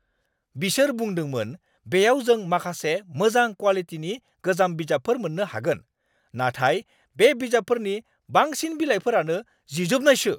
बिसोर बुंदोंमोन बेयाव जों माखासे मोजां क्वालिटिनि गोजाम बिजाबफोर मोननो हागोन, नाथाय बे बिजाबफोरनि बांसिन बिलाइफोरानो जिजोबनायसो!